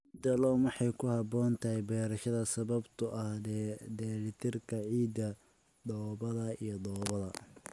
Ciidda Loam waxay ku habboon tahay beerashada sababtoo ah dheellitirka ciidda, dhoobada iyo dhoobada.